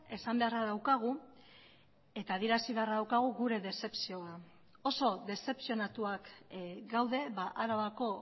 esan beharra daukagu eta adierazi beharra daukagu gure dezepzioa oso dezepzionatuak gaude arabako